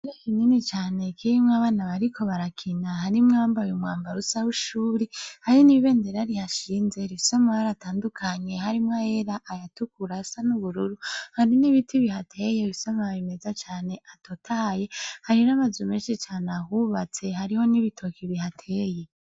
Inini cane kimwe abana bariko barakina harimwo bambaye umwambarusa h'ushuri hari n'ibenderari hashinze isoma baratandukanye harimwo era ayatukura asa n'ubururu hari n'ibiti bihateye bisomaye imeza cane atotaye harira amaze meshi cane ahubatse hariho n'ibitoki bihateye.